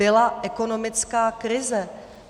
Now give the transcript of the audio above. Byla ekonomická krize.